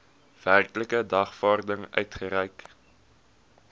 werklike dagvaarding uitgereik